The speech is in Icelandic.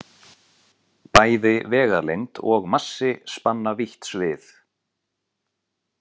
Bæði vegalengd og massi spanna vítt svið.